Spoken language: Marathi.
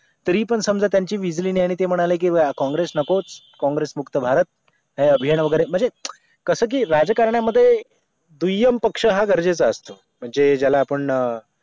तरी पण समजा त्यांची मिजली नाही आणि ते म्हणाले कि काँग्रेस नकोच काँग्रेस मुक्त भारत काही अभियान वगैरे म्हणजे कसं की राजकारणामध्ये दुय्यम पक्ष हा गरजेचा असतो जे ज्याला आपण